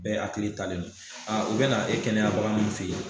Bɛɛ akili talen no a u be na na e kɛnɛyabaga min fe yen